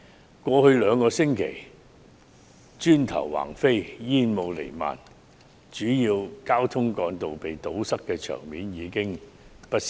在過去兩星期，街上磚頭橫飛、煙霧彌漫、主要交通幹道遭堵塞的場面已屢見不鮮。